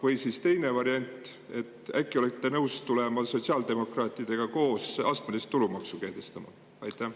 Või siis teine variant: äkki olete nõus tulema sotsiaaldemokraatidega koos astmelist tulumaksu kehtestama?